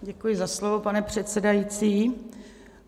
Děkuji za slovo, pane předsedající.